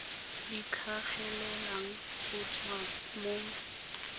di tlhagelelang go tswa mo